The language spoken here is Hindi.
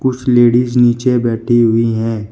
कुछ लेडिस नीचे बैठी हुई है।